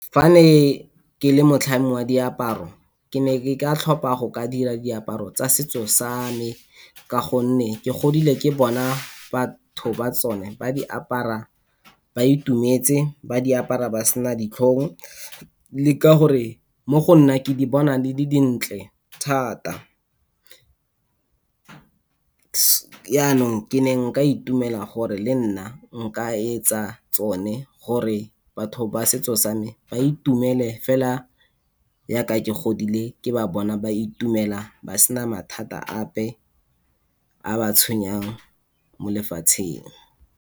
Fa ne ke le motlhami wa diaparo ke ne ke ka tlhopa go ka dira diaparo tsa setso sa me, ka gore ke godile ke bona batho ba tsone ba di apara ba itumetse, ba di apara ba sena ditlhong. Le ka gore mo go nna ke di bona di le dintle thata. Yanong ke ne nka itumela gore lenna nka etsa tsone gore batho ba setso sa me ba itumele fela yaka ke godile ke ba bona ba itumela, ba sena mathata ape a a ba tshwenyang mo lefatsheng.